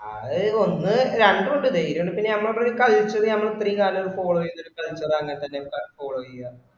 അത് ഒന്ന് രണ്ടു ഇൻഡ് ധൈര്യ ഇൻഡ് ഞമ്മള ഒരു culture ഞമ്മള് ഇത്രേയൻകാലം follow ചെയ്ത ഒരു culture അങ്ങനത്തന്നെ അ follow ചെയ്യാ